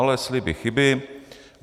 Ale sliby chyby.